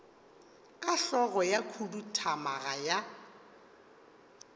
ka hlogo ya khuduthamaga ya